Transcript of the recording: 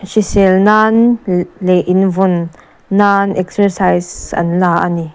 hrisel nan le leh invawn nan exercise an la a ni.